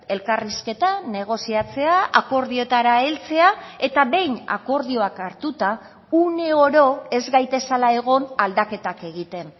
elkarrizketa negoziatzea akordioetara heltzea eta behin akordioak hartuta une oro ez gaitezela egon aldaketak egiten